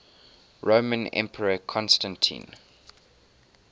roman emperor constantine